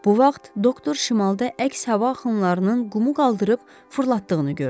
Bu vaxt doktor şimalda əks hava axınlarının qumu qaldırıb fırlatdığını gördü.